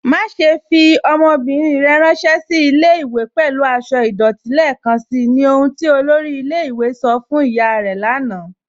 Màṣẹ̀ fi ọmọ́bírín rẹ̀ ránsẹ̀ sí ilẹ̀-ìwé̀ pẹ̀lú àṣọ̀ idọ̀tí lẹ́ẹkanṣí, ní ọ̀hun tí olórí ilẹ̀-ìwé̀ sọ̀ fún ìyá rẹ̀ lànà